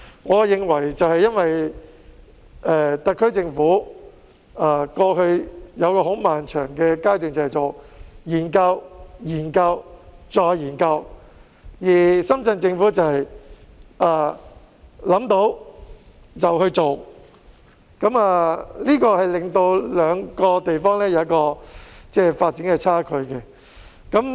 我認為是因為特區政府過去有一個很漫長的階段研究、研究、再研究，而深圳政府則想到便去做，這令兩個地方有一個發展差距。